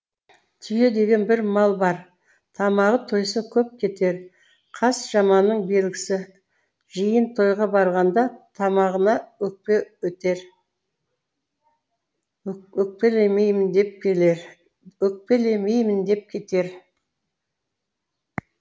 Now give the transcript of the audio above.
түйе деген бір мал бар тамағы тойса көп кетер қас жаманның белгісіжиын тойға барғандатамағына өкпе етер өкпелеймін деп кетер